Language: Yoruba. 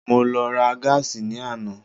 Mo lọ ra gáàsì ní àná.